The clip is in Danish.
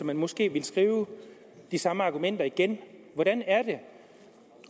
man måske ville skrive de samme argumenter igen hvordan er det